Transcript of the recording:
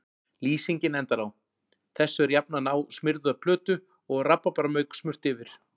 Lýsingin endar á: Þessu er jafnað á smurða plötu og rabarbaramauk smurt yfir.